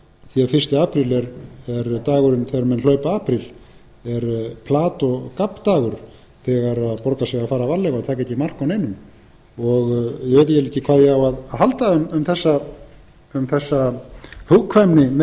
því fyrsta apríl er dagurinn þegar menn hlaupa apríl er plat og gabbdagur þegar borgar sig að fara varlega og taka ekki mark á neinu ég veit eiginlega ekki hvað ég á að halda um þessa hugkvæmni